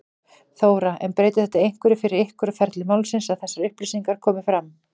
Þóra: En breytir þetta einhverju fyrir ykkur og ferli málsins að þessar upplýsingar komi fram?